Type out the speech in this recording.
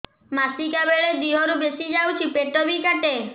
ମାସିକା ବେଳେ ଦିହରୁ ବେଶି ଯାଉଛି ପେଟ ବି କାଟେ